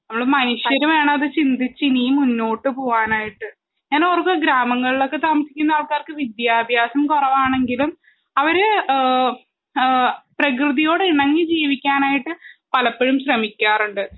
നമ്മള് മനുഷ്യര് വേണം അത് ചിന്തിച്ച്‌ ഇനിയും മുന്നോട്ട് പോവാനായിട്ട് ഞാനോർക്ക ഗ്രാമങ്ങൾലൊക്കെ താമസിക്കുന്ന ആൾക്കാർക്ക് വിദ്യാഭ്യാസം കൊറവാണെങ്കിലും അവര് ഏ ഏ പ്രകൃതിയോട് ഇണങ്ങി ജീവിക്കാനായിട്ട് പലപ്പഴും ശ്രമിക്കാറുണ്ട്